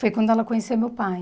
Foi quando ela conheceu meu pai.